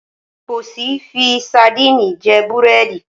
Pọ̀si fi sadíìnì jẹ búrẹ́dì.